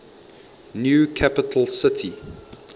new capital city